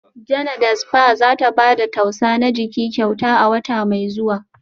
Janada spa za ta ba da tausa na jiki kyauta a wata mai zuwa